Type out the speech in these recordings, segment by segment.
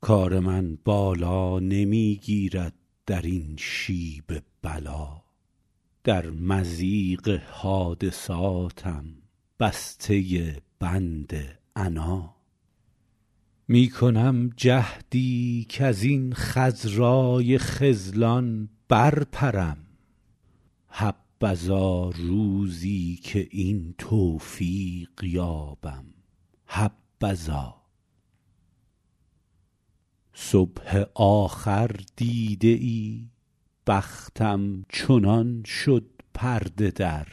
کار من بالا نمی گیرد در این شیب بلا در مضیق حادثاتم بسته بند عنا می کنم جهدی کزین خضرای خذلان برپرم حبذا روزی که این توفیق یابم حبذا صبح آخر دیده ای بختم چنان شد پرده در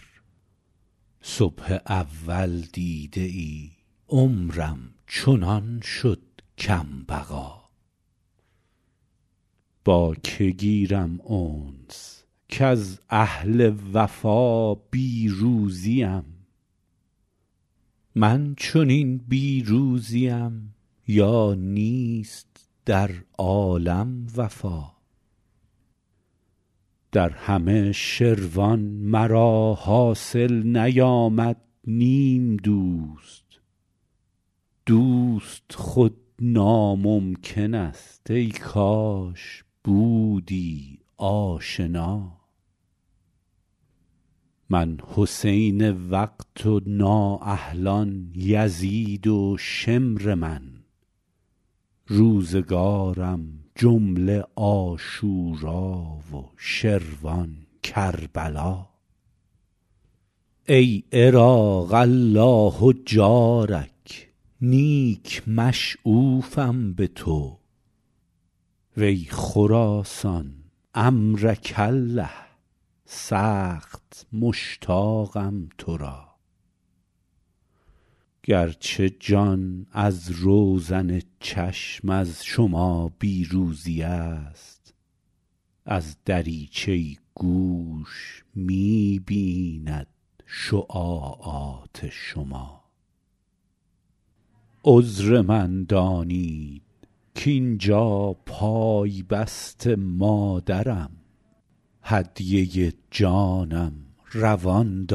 صبح اول دیده ای عمرم چنان شد کم بقا با که گیرم انس کز اهل وفا بی روزیم من چنین بی روزیم یا نیست در عالم وفا در همه شروان مرا حاصل نیامد نیم دوست دوست خود ناممکن است ای کاش بودی آشنا من حسین وقت و نااهلان یزید و شمر من روزگارم جمله عاشورا و شروان کربلا ای عراق الله جارک نیک مشغوفم به تو وی خراسان عمرک الله سخت مشتاقم تو را گرچه جان از روزن چشم از شما بی روزی است از دریچه گوش می بیند شعاعات شما عذر من دانید کاینجا پای بست مادرم هدیه جانم روان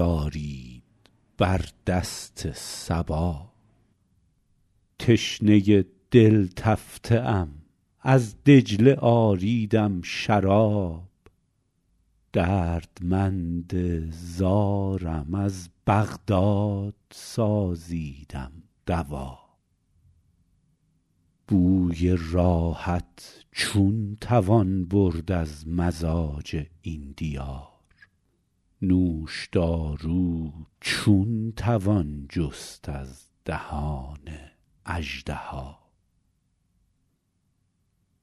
دارید بر دست صبا تشنه دل تفته ام از دجله آریدم شراب دردمند زارم از بغداد سازیدم دوا بوی راحت چون توان برد از مزاج این دیار نوش دارو چون توان جست از دهان اژدها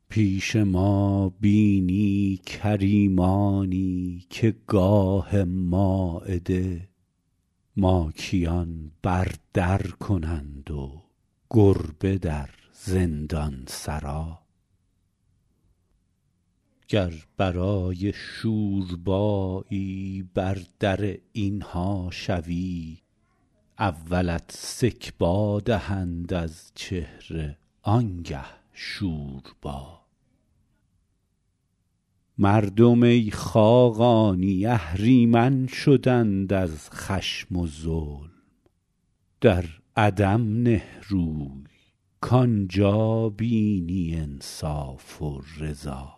پیش ما بینی کریمانی که گاه مایده ماکیان بر در کنند و گربه در زندان سرا گر برای شوربایی بر در این ها شوی اولت سکبا دهند از چهره آنگه شوربا مردم ای خاقانی اهریمن شدند از خشم و ظلم در عدم نه روی کآنجا بینی انصاف و رضا